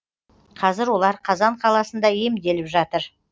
қазір олар қазан қаласында емделіп жатыр